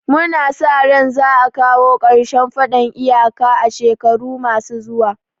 Mu na sa ran za a kawo karshen faɗan iyaka a shekaru ma su zuwa